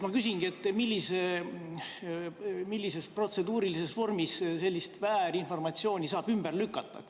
Ma küsingi, et millises protseduurilises vormis sellist väärinformatsiooni saab ümber lükata.